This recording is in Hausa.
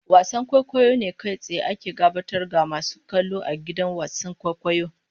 Wasan kwaikwayo ne kai tsaye ake gabatar ga masu kallo a gidan wasan kwaikwayo.